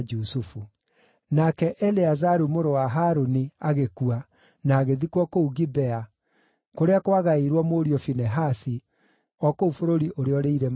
Nake Eleazaru mũrũ wa Harũni agĩkua na agĩthikwo kũu Gibea, kũrĩa kwagaĩirwo mũriũ Finehasi, o kũu bũrũri ũrĩa ũrĩ irĩma wa Efiraimu.